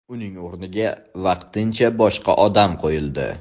Uning o‘rniga vaqtincha boshqa odam qo‘yildi.